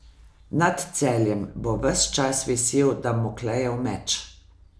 Nad Celjem bo ves čas visel Damoklejev meč.